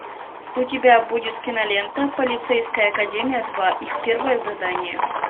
у тебя будет кинолента полицейская академия два их первое задание